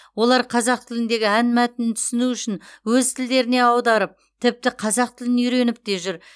олар қазақ тіліндегі ән мәтінін түсіну үшін өз тілдеріне аударып тіпті қазақ тілін үйреніп те жүр